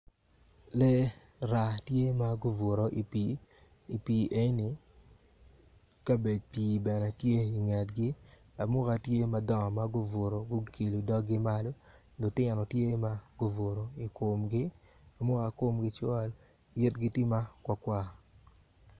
Lee raa tye ma gubuto i pii kabec pii bene tye ingetgi amuka tye madongo ma guilo doggi malo lutino tye ma gubuto i komgi amuka komgi col yigi tye makwar kwar.